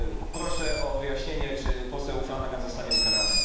Proszę o wyjaśnienie, czy poseł Flanagan zostanie ukarany.